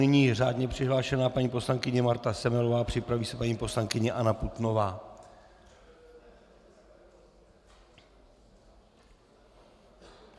Nyní řádně přihlášená paní poslankyně Marta Semelová, připraví se paní poslankyně Anna Putnová.